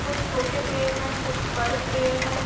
कुछ छोटे पेड़ है। कुछ बड़े पेड़ है।